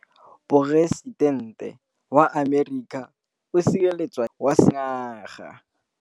Poresitêntê wa Amerika o sireletswa ke motlhokomedi wa sengaga.